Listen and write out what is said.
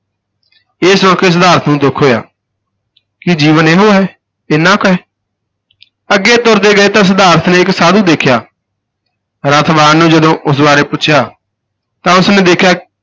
ਇਹ ਸੁਣ ਕੇ ਸਿਧਾਰਥ ਨੂੰ ਦੁਖ ਹੋਇਆ ਕੀ ਜੀਵਨ ਇਹੋ ਹੈ? ਇੰਨਾ ਕੁ ਹੈ ਅੱਗੇ ਤੁਰਦੇ ਗਏ ਤਾਂ ਸਿਧਾਰਥ ਨੇ ਇਕ ਸਾਧੂ ਦੇਖਿਆ, ਰਥਵਾਨ ਨੂੰ ਜਦੋਂ ਉਸ ਬਾਰੇ ਪੁੱਛਿਆ ਤਾਂ ਉਸ ਨੇ ਦੇਖਿਆ